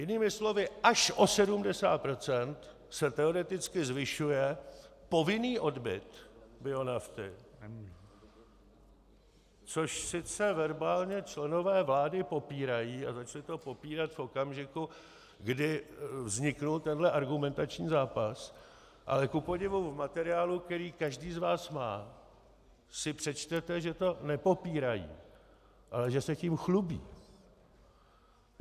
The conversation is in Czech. Jinými slovy, až o 70 % se teoreticky zvyšuje povinný odbyt bionafty, což sice verbálně členové vlády popírají, a začali to popírat v okamžiku, kdy vznikl tenhle argumentační zápas, ale kupodivu v materiálu, který každý z vás má, si přečtete, že to nepopírají, ale že se tím chlubí.